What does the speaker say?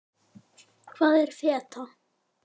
Hvað er feta?